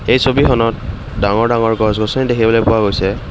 এই ছবিখনত ডাঙৰ ডাঙৰ গছ-গছনি দেখিবলৈ পোৱা গৈছে।